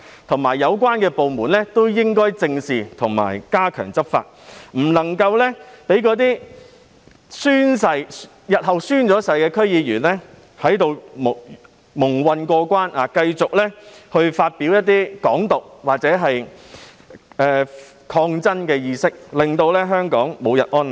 同時，有關部門亦應該正視及加強執法，不能夠讓那些日後完成宣誓的區議員在此蒙混過關，繼續宣揚"港獨"或抗爭的意識，令香港無日安寧。